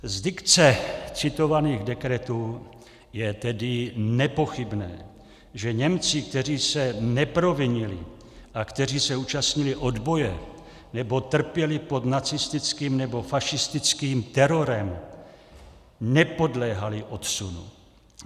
Z dikce citovaných dekretů je tedy nepochybné, že Němci, kteří se neprovinili a kteří se účastnili odboje nebo trpěli pod nacistickým nebo fašistickým terorem, nepodléhali odsunu.